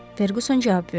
Ferquson cavab verdi.